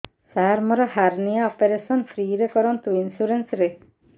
ସାର ମୋର hernia operation free ରେ କରନ୍ତୁ ଇନ୍ସୁରେନ୍ସ ରେ